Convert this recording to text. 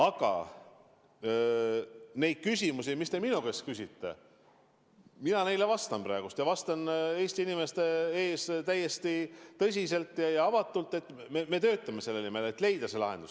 Aga nendele küsimustele, mis te minu käest küsisite, ma vastan praegu Eesti inimeste ees täiesti tõsiselt ja avatult, et me töötame selle nimel, et leida see lahendus.